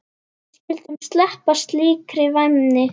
Við skyldum sleppa slíkri væmni.